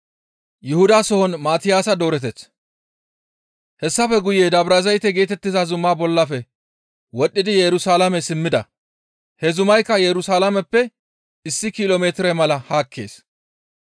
Hessafe guye Dabrazayte geetettiza zuma bollafe wodhdhidi Yerusalaame simmida. He zumaykka Yerusalaameppe issi kilo metire mala haakkees.